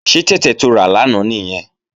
Ṣé tẹ̀tẹ̀ to rà lánàá nìyẹn?